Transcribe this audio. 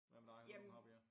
Hvad med dig har du nogen hobbyer